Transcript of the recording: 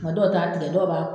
Maa dɔw ta tigɛ, dɔw